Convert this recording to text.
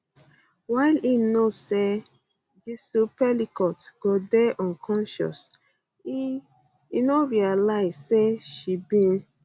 while im know say gisle pelicot go dey unconscious e um say um e no realise say she bin